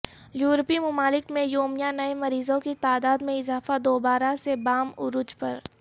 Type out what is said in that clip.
یورپی ممالک میں یومیہ نئے مریضوں کی تعداد میں اضافہ دوبارہ سے بام عروج پر